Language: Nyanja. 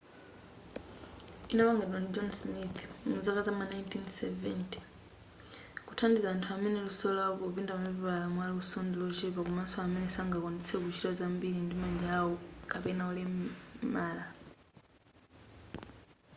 inapangidwa ndi john smith muzaka zam'ma 1970 kuthandiza anthu amene luso lawo popinda mapepala mwaluso ndilochepa komanso amene sangakwanitse kuchita zambili ndi manja yao kapena olemala